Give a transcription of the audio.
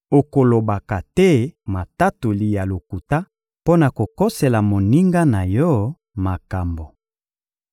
Okolobaka te matatoli ya lokuta mpo na kokosela moninga na yo makambo.